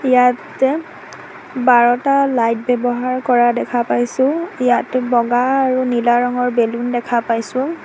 ইয়াতে বাৰটা লাইট ব্যৱহাৰ কৰা দেখা পাইছোঁ ইয়াত বগা আৰু নীলা ৰঙৰ বেলুন দেখা পাইছোঁ।